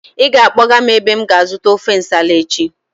Ị ga-akpọga m ebe m ga-azụta ofe Nsala echi!